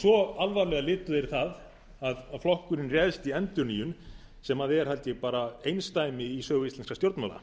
svo alvarlega litu þeir það að flokkurinn brást í endurnýjun sem er held ég bara einsdæmi í sögu íslenskra stjórnmála